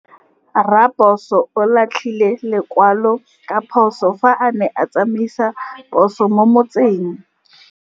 Raposo o latlhie lekwalô ka phosô fa a ne a tsamaisa poso mo motseng.